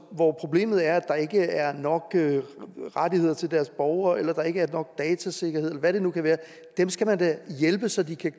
hvor problemet er at der ikke er nok rettigheder til deres borgere eller der ikke er nok datasikkerhed eller hvad det nu kan være dem skal man da hjælpe så de kan